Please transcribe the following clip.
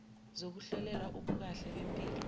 zokuhlolelwa ubukahle bempilo